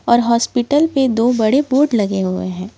और हॉस्पिटल पे दो बड़े बोर्ड लगे हुए हैं।